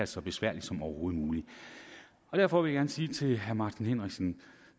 så besværligt som overhovedet muligt derfor vil jeg gerne sige til herre martin henriksen